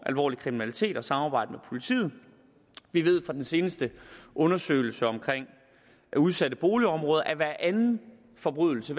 alvorlig kriminalitet og samarbejde med politiet vi ved fra den seneste undersøgelse om udsatte boligområder at hver anden forbrydelse